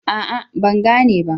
A'a, Ban gane ba